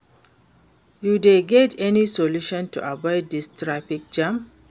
You dey get any solution to avoid dis traffic jam?